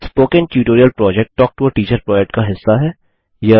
spoken tutorial project talk to a teacher project का हिस्सा है